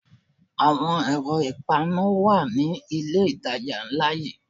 Àwọn ẹ̀rọ ìpaná wà ní ilé ìtajà ńlá yí.